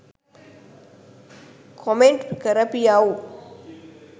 Comment කරපියව්.